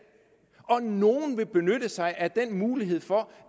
og nogle vil benytte sig af den mulighed for